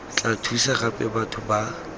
tla thusa gape batho ba